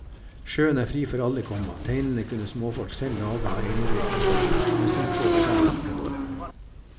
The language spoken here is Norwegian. Sjøen er fri for alle, komma teinene kunne småfolk selv lage av einervirke, komma messingtråd og garn. punktum